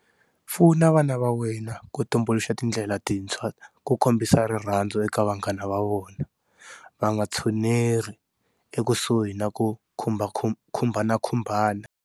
Pfuna vana va wena ku tumbuluxa tindlela tintshwa ku kombisa rirhandzu eka vanghana va vona, va nga tshuneri ekusuhi na ku khumbhanakhumbhana.